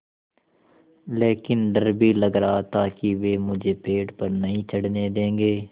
लेकिन डर भी लग रहा था कि वे मुझे पेड़ पर नहीं चढ़ने देंगे